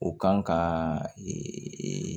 O kan ka ee